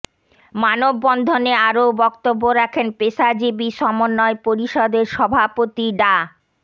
মানবন্ধনে আরও বক্তব্য রাখেন পেশাজীবী সমন্বয় পরিষদের সভাপতি ডা